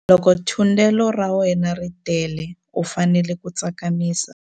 Loko thundelo ra wena ri tele u fanele ku tsakamisa.